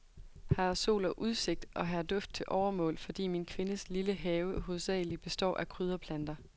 Her er sol og udsigt, og her er duft til overmål, fordi min kvindes lille have hovedsagelig består af krydderplanter.